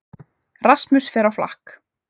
Rasmus fer á flakk